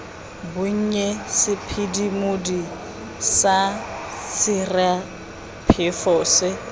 bonnye sephimodi sa sesiraphefo se